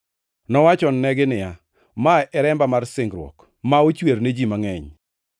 Nowachonegi niya, “Ma en remba mar singruok, ma ochwer ne ji mangʼeny.